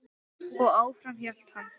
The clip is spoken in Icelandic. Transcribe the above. Og áfram hélt hann.